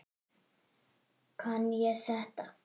Kann ég þetta?